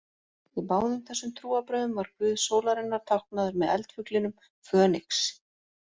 Í báðum þessum trúarbrögðum var guð sólarinnar táknaður með eldfuglinum Fönix.